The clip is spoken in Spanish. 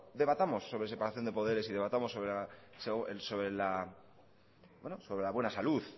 debatamos sobre separación de poderes y debatamos sobre la buena salud